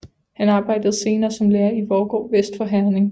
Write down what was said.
Han arbejdede senere som lærer i Vorgod vest for Herning